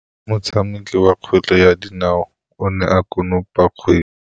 Motshameki wa kgwele ya dinaô o ne a konopa kgwele.